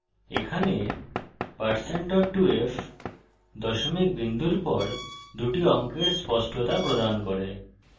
এখানে %2f দশমিক বিন্দুর পর দুটি অঙ্কের স্পষ্টতা প্রদান করে